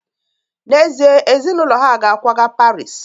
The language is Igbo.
N'ezie, ezinụlọ ha ga-akwaga Paris